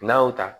N'a y'o ta